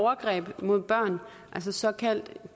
overgreb mod børn altså såkaldt